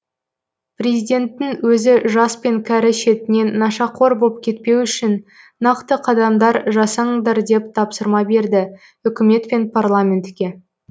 президенттің өзі жас пен кәрі шетінен нашақор боп кетпеу үшін нақты қадамдар жасаңдар деп тапсырма берді үкімет пен парламентке